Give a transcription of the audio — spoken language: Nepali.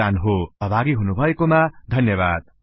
को योगदान हो सहभागी हुनुभएको मा धन्यबाद